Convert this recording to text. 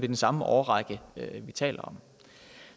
den samme årrække vi taler om